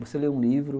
Você lê um livro.